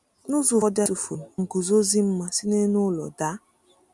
N’ụzọ ụfọdụ, a tụfuru m nguzozi ma si n’elu ụlọ daa.